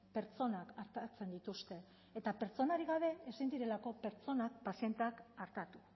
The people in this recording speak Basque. pertsonak artatzen dituzte eta pertsonarik gabe ezin direlako pertsonak pazienteak artatu